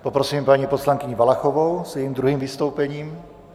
Poprosím paní poslankyni Valachovou s jejím druhým vystoupením.